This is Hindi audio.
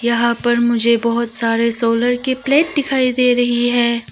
यहां पर मुझे बहोत सारे सोलर की प्लेट दिखाई दे रही है।